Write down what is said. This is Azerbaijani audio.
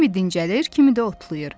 Kimi dincəlir, kimi də otlayır.